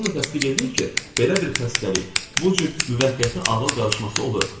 Doğrudan da təsdiq eləyir ki, belə bir xəstəlik bu cür müvəqqəti ağıl qarışması olur.